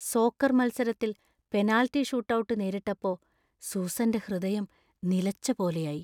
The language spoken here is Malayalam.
സോക്കർ മത്സരത്തിൽ പെനാൽറ്റി ഷൂട്ട് ഔട്ട് നേരിട്ടപ്പോ സൂസന്‍റെ ഹൃദയം നിലച്ചപോലെയായി.